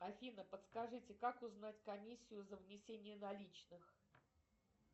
афина подскажите как узнать комиссию за внесение наличных